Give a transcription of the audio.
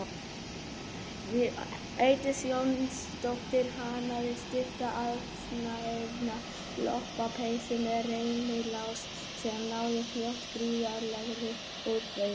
Védís Jónsdóttir hannaði stutta aðsniðna lopapeysu með rennilás sem náði fljótt gríðarlegri útbreiðslu.